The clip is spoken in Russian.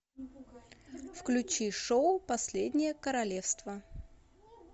включи шоу последнее королевство